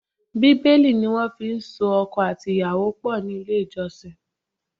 Bíbélì ni wọ́n fi so ọkọ àti ìyàwó pọ̀ ní ilé ìjọsìn.